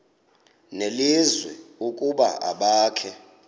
nelizwi ukuba abakhe